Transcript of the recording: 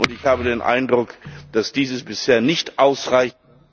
Ich habe den Eindruck, dass das bisher nicht ausreicht.